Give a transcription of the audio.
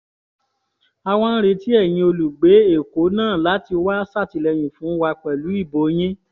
a wá ń retí ẹ̀yin olùgbé èkó náà láti wáá ṣàtìlẹ́yìn fún wa pẹ̀lú ìbò yín